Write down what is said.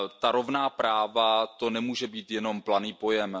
Rovná práva, to nemůže být jenom planý pojem.